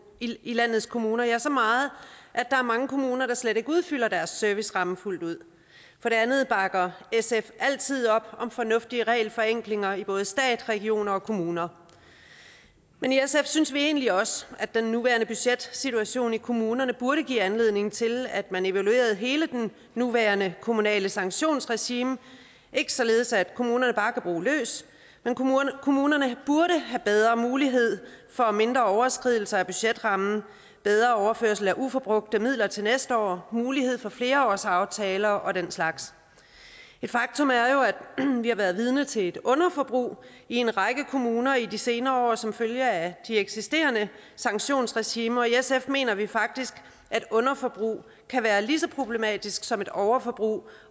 i landets kommuner ja så meget at der er mange kommuner der slet ikke udfylder deres serviceramme fuldt ud for det andet bakker sf altid op om fornuftige regelforenklinger i både stat regioner og kommuner men i sf synes vi egentlig også at den nuværende budgetsituation i kommunerne burde give anledning til at man evaluerede hele det nuværende kommunale sanktionsregime ikke således at kommunerne bare kan bruge løs men kommunerne burde have bedre mulighed for mindre overskridelser af budgetrammen bedre overførsel af uforbrugte midler til næste år mulighed for flerårsaftaler og den slags et faktum er jo at vi har været vidne til et underforbrug i en række kommuner i de senere år som følge af de eksisterende sanktionsregimer sf mener vi faktisk at underforbrug kan være lige så problematisk som et overforbrug